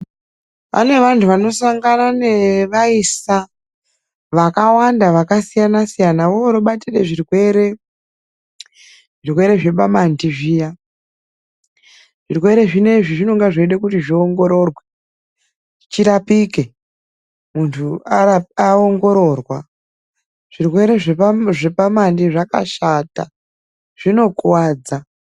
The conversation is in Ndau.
Pane vanhu vanosangana nevaisa vakawanda vakasiyana-siyana, vobatire zvitenda zvepamanhi .Zvitenda izvi zvinonga zveide kuongororwa zvione kurapiwa . Zvitenda izvi zvakashata zvinokuwadza.